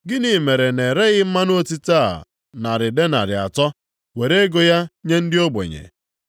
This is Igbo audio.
“Gịnị mere na-ereghị mmanụ otite a narị denarị atọ, + 12:5 Narị denarị atọ ruru ụgwọ ọnwa onye ọrụ ga-anata nʼotu afọ. were ego ya nye ndị ogbenye?”